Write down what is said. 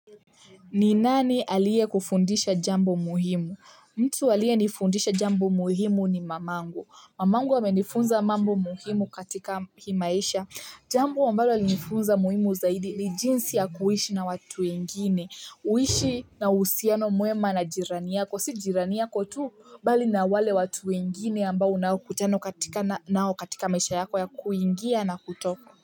Ni nani alie kufundisha jambo muhimu mtu alie nifundisha jambo muhimu ni mamangu mamangu amenifunza mambo muhimu katika himaisha jambo ambalo alinifunza muhimu zaidi ni jinsi ya kuishi na watu wengine uishi na usiano muema na jirani yako si jirani yako tu bali na wale watu wengine ambao unakutano katika nao katika maisha yako ya kuingia na kutoka.